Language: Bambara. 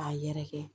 K'a yɛrɛkɛ